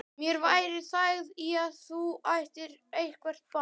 Mér væri þægð í að þú ættir eitthvert barn.